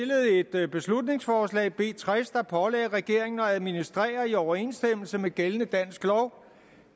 et beslutningsforslag b tres der pålagde regeringen at administrere i overensstemmelse med gældende dansk lov